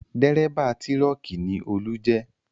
Dérébà tírọ́kì ni Olú jẹ́